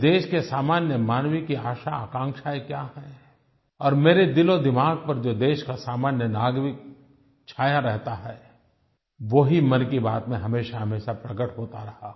इस देश के सामान्य मानव की आशाआकांक्षायें क्या हैं और मेरे दिलोदिमाग पर जो देश का सामान्य नागरिक छाया रहता है वो ही मन की बात में हमेशाहमेशा प्रकट होता रहा